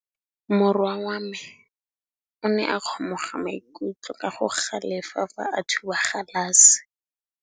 Morwa wa me o ne a kgomoga maikutlo ka go galefa fa a thuba galase.